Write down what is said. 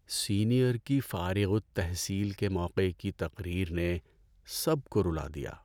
Senior کی فارغ التحصیل کے موقع کی تقریر نے سب کو رلا دیا۔